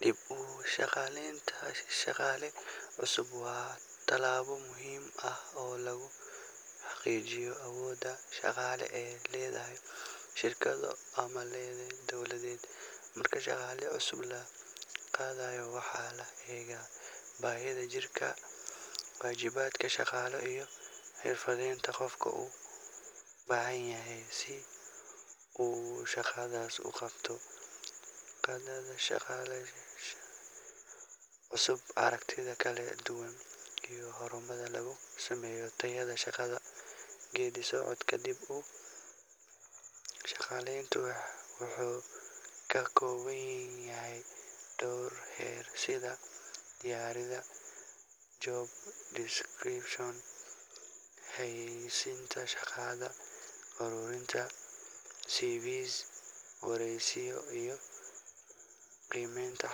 dib uu shaqaaleynta shaqaale cusub waa tallaabo muhiim ah oo lagu xaqijiyo awodaa shaqaale ee ledahay shirkada ama leedeen dowladeed marka shaqaale cusub la qaadayo waxaana eegaa baahida jirka waajibaadka shaqaale iyo xirfadeenta qofka uu Bahan yahay side u qabto shaqa cusub iyo aragtida kala dugan iyo hormar lugu sameyo daayada shaqada geedisocod ka dib u shaqaleynt waxxu kakowan yehe dowr her sida diyarida, job description, hayisinta shaqada hormarinta CVS, wareysiyo iyo prematal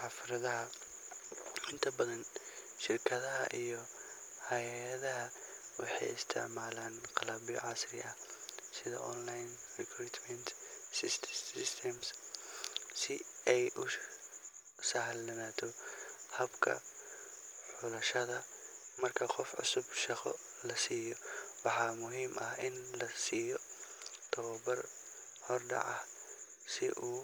harfadaha inta badan shirkada iyo hayadaha waxay isticmaalan qalab yaa casri ah sida online recruitment systems sii ay uu sahlan nato habka hushada marki qof cusub shaqo lasiyo waxa muhiim ah in lasiyo tawa bar hordaca si uu.